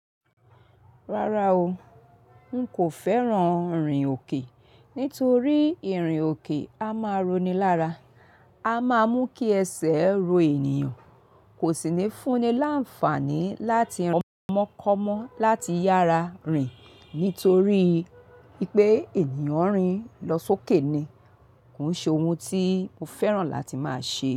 Rárá o, n kò fẹ́ràn rìn òkè nítorí ìrìn òkè a máa ronilára. A má mú kí ẹsẹ̀ ro ènìyàn, kò sì ní fúnni láǹfààní láti ràn mọ́kọmọ́ láti yára rìn nítorí pé ènìyàn ń rìn lọ sókè ni. Kò ń ṣe ohun tí mo fẹ́ràn láti máa ṣe.